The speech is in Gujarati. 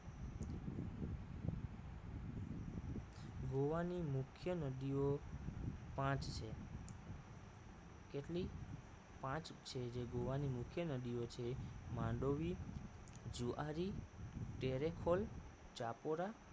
ગોવા ની મુખ્ય નદીઓ પાંચ છે કેટલી પાંચ છે જે ગોવાની મુખ્ય નદીઓ છે માંડોવી જુઆરી ટેરેફોલ ચાપોરા